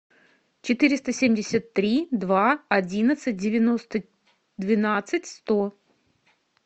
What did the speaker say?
четыреста семьдесят три два одиннадцать девяносто двенадцать сто